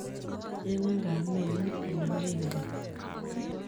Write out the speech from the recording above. Cheng'in kaameng'ung , anan mengen?